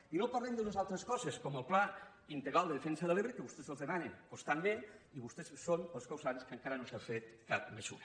i no parlen d’unes altres coses com el pla integral de defensa de l’ebre que a vostès se’ls demana constantment i vostès són els causants que encara no s’haja fet cap mesura